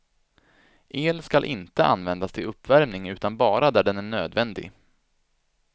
El skall inte användas till uppvärmning utan bara där den är nödvändig.